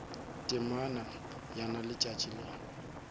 temana ya na letšatši le